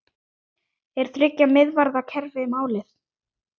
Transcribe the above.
Er þriggja miðvarða kerfi málið?